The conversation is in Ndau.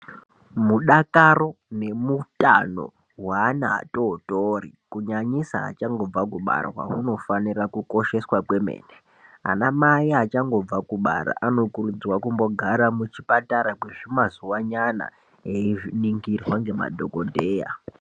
Mudakaro nemutambo weana adodori kunyanyisa vachangobva kubarwa unofanira kukosheswa kwemene ana mai achangobva kubara anokurudzirwa kumbogara muchipatara kwezvimazuwa nyana einingirwa ngemadhokodheya.